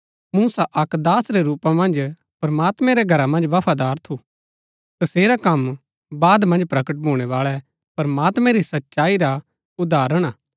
मूसा अक्क दास रै रूपा मन्ज प्रमात्मैं रै घरा मन्ज बफादार थू तसेरा कम बाद मन्ज प्रकट भूणै बाळै प्रमात्मैं री सच्चाई रा उदाहरण हा